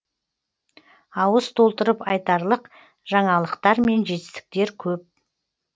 ауыз толтырып айтарлық жаңалықтар мен жетістіктер көп